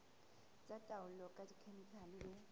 tsa taolo ka dikhemikhale le